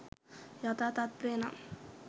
යථා තත්ත්වය නම්